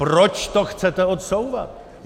Proč to chcete odsouvat?